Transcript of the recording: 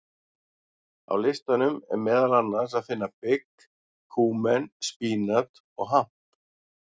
Á listanum er meðal annars að finna bygg, kúmen, spínat og hamp.